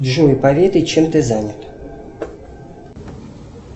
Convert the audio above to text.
джой поведай чем ты занят